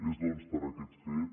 és doncs per aquest fet